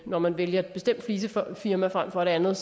når man vælger et bestemt flisefirma frem for et andet